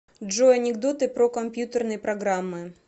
джой анекдоты про компьютерные программы